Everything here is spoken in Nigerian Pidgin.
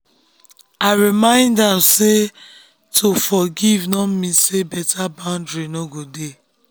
i remind am say to forgive no mean say better boundary no go dey.